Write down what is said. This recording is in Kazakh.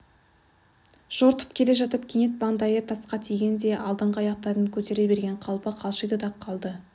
жортып келе жатып кенет маңдайы тасқа тигендей алдыңғы аяқтарын көтере берген қалпы қалшиды да қалды